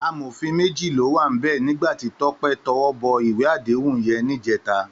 Àmófín méji ló wá nibè nigbá ti Tope tèwòbò iwé àdéhún yèn nijètá